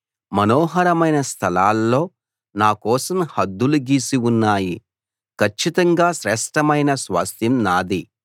మనోహరమైన స్థలాల్లో నాకోసం హద్దులు గీసి ఉన్నాయి కచ్చితంగా శ్రేష్ఠమైన స్వాస్థ్యం నాది